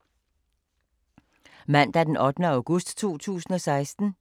Mandag d. 8. august 2016